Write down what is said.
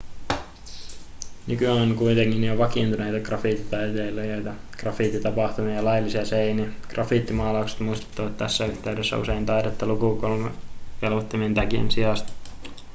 nykyään on kuitenkin jo vakiintuneita graffititaiteilijoita graffititapahtumia ja laillisia seiniä graffitimaalaukset muistuttavat tässä yhteydessä usein taidetta lukukelvottomien tagien sijasta